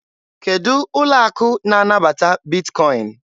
Kedụ ụlọ akụ na-anabata Bitkọin?